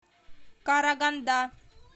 караганда